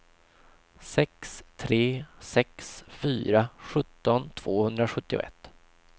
sex tre sex fyra sjutton tvåhundrasjuttioett